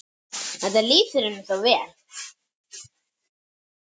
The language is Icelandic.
Þetta lýsir henni svo vel.